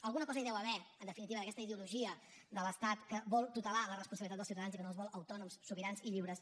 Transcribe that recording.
alguna cosa hi deu haver en definitiva d’aquesta ideologia de l’estat que vol tutelar la responsabilitat del ciutadans i que no els vol autònoms sobirans i lliures